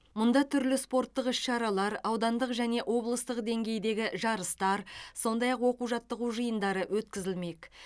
мұнда түрлі спорттық іс шаралар аудандық және облыстық деңгейдегі жарыстар сондай ақ оқу жаттығу жиындары өткізілмек